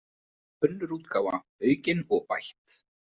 Önnur útgáfa, aukin og bætt.